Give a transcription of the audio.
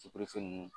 ninnu